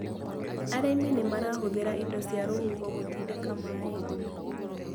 Arĩmi nĩmarahũthĩra indo cia rũhuho gũtindĩka maĩ.